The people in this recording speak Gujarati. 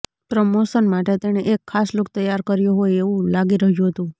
પ્રમોશન માટે તેણે એક ખાસ લુક તૈયાર કર્યો હોય એવું લાગી રહ્યું હતું